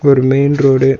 இது ஒரு main road .